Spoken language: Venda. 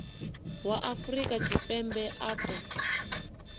wa afrika tshipembe a ṱo